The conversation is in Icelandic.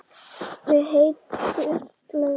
Við heitar laugar